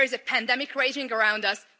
There is a pandemic raging around us.